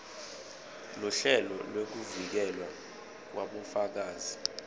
luhlelo lwekuvikelwa kwabofakazi